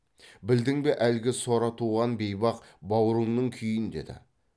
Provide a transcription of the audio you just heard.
білдің бе әлгі сора туған бейбақ баурыңның күйін деді